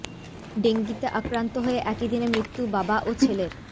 ডেঙ্গিতে আক্রান্ত হয়ে একই দিনে মৃত্যু বাবা ও ছেলের